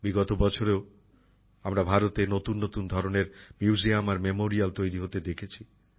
বিগত বছরেও আমরা ভারতে নতুন নতুন ধরনের মিউজিয়াম আর স্মারক তৈরি হতে দেখেছি